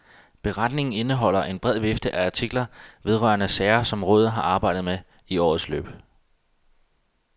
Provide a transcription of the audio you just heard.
Beretningen indeholder en bred vifte af artikler vedrørende sager, som rådet har arbejdet med i årets løb.